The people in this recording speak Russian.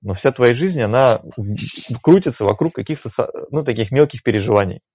ну вся твоя жизнь она крутится вокруг каких то ну таких мелких переживай